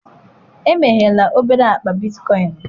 emeghela obere akpa bitcoin m.